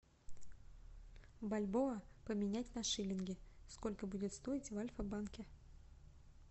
бальбоа поменять на шиллинги сколько будет стоить в альфабанке